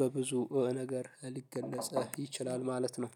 በብዙ ነገር ሊገፃ ይችላል ማለት ነው።